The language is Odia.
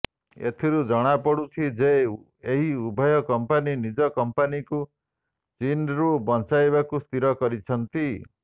ଏଥିରୁ ଜଣାପଡ଼ୁଛି ଯେ ଏହି ଉଭୟ କମ୍ପାନୀ ନିଜ କମ୍ପାନୀକୁ ଚୀନ୍ରୁ ବଞ୍ଚାଇବାକୁ ସ୍ଥିର କରିଛନ୍ତି